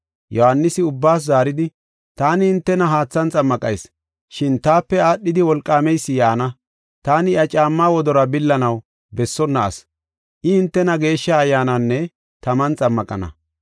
Yohaanisi ubbaas zaaridi, “Taani hintena haathan xammaqayis, shin taape aadhidi wolqaameysi yaana. Taani iya caammaa wodoruwa billanaw bessonna asi. I hintena Geeshsha Ayyaananinne taman xammaqana.